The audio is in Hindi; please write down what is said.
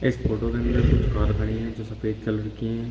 इस फोटो के अंदर कुछ कार खड़ी हैं जो सफेद कलर की हैं।